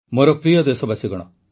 ମୋର ପ୍ରିୟ ଦେଶବାସୀଗଣ